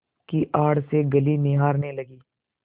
की आड़ से गली निहारने लगी